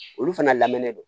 Olu fana lamɛnnen don